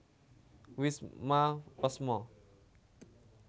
Wisma wésmo